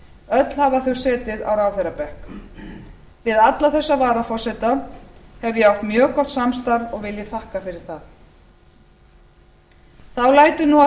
öll hafa þau setið á ráðherrabekk við alla þessa varaforseta hef ég átt mjög gott samstarf og vil ég þakka fyrir það þá lætur nú af